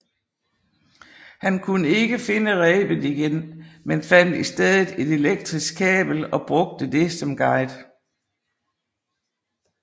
Han kunne ikke finde rebet igen men fandt i stedet et elektrisk kabel og brugte det som guide